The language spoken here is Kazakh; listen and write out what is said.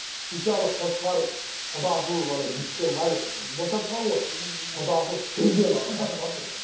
сөйтсе ана қошқар құдасын ана жіптен байлап босатқан ғой құдасын сүзген ана қошқар ше